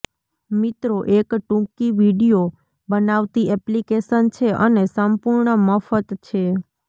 મિત્રો એક ટૂંકી વીડિઓ બનાવતી એપ્લિકેશન છે અને સંપૂર્ણ મફત છે